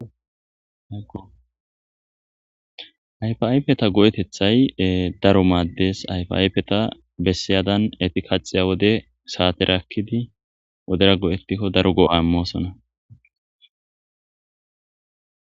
Aoayfi ayfeta go7etethay daro maaddes ayfi ayfeta bessiyadan eti kaxiya wode saate rakkidi wodera go7ettikko daro go7a moosona.